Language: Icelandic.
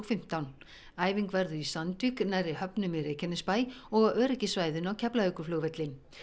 fimmtán æfing verður í Sandvík nærri höfnum í Reykjanesbæ og á öryggissvæðinu á Keflavíkurflugvelli